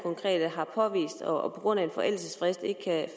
og på grund af en forældelsesfrist ikke kan